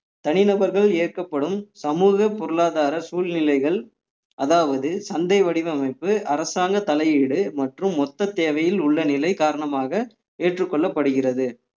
தனிநபர்கள் ஏற்கப்படும் சமூக பொருளாதார சூழ்நிலைகள் அதாவது சந்தை வடிவமைப்பு அரசாங்க தலையீடு மற்றும் மொத்த தேவையில் உள்ள நிலை காரணமாக ஏற்றுக்கொள்ளப்படுகிறது